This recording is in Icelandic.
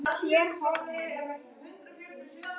En hvað fer þarna fram?